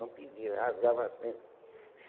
Não pedia, rasgava assim.